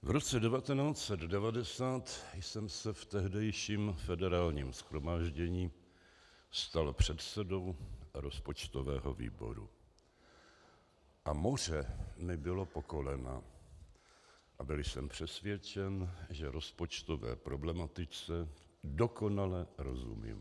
V roce 1990 jsem se v tehdejším Federálním shromáždění stal předsedou rozpočtového výboru a moře mi bylo po kolena a byl jsem přesvědčen, že rozpočtové problematice dokonale rozumím.